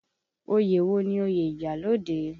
Oyè wo ni oyè iyalode?